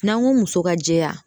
N'an ko muso ka jɛya